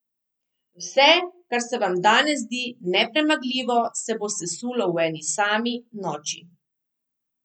Vse, kar se vam danes zdi nepremagljivo, se bo sesulo v eni sami noči!